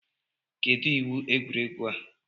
Kedụ iwu egwuregwu a?